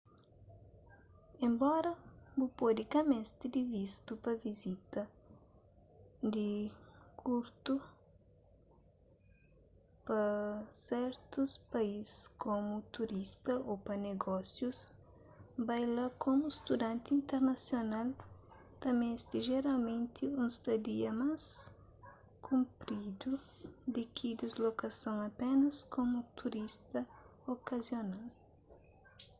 enbora bu pode ka meste di vistu pa vizitas di kurtu pa sertus país komu turista ô pa negósius bai la komu studanti internasional ta meste jeralmenti un stadia más kunrpidu di ki dislokason apénas komu turista okazional